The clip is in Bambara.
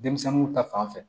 Denmisɛnninw ta fanfɛ